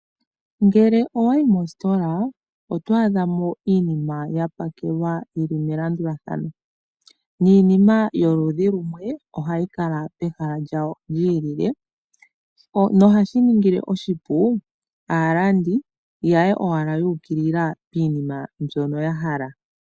Ngele owa yi mositola oto adhamo iinima ya pakelwa yili melandulathano niinima yoludhi lumwe ohayi kala pehala lyawo lyilile nohashi ningile oshipu aalandi ya ye owala yuukilila piinima mbyono ya hala.